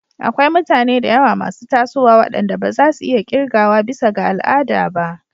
Akwai mutane da yawa masu tasowa waɗanda ba za su iya ƙirgawa bisa ga al'ada ba.